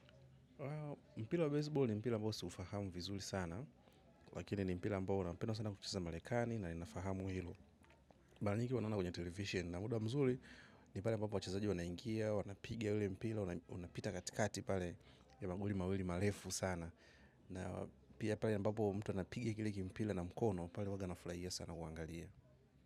Mpila wa baseball ni mpila mbao siufahamu vizuli sana. Lakini ni mpila ambao unapenwa sana kuchezwa malekani na inafahamu hilo. Mara nyingi huwa naona kwenye television na muda mzuri. Ni pale ambapo wachezaji wanaingia, wanapiga ule mpira. Unapita katikati pale ya magoli mawili marefu sana. Na pia pale ambapo mtu anapiga kile kimpira na mkono. Pale huwaga nafurahia sana kuangalia.